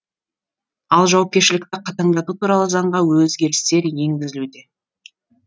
ал жауапкершілікті қатаңдату туралы заңға өзгерістер енгізілуде